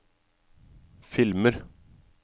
filmer